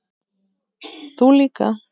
Þú líka.